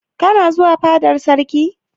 Kana zuwa fadar sarki?